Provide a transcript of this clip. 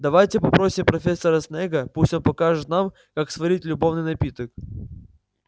давайте попросим профессора снегга пусть он покажет нам как сварить любовный напиток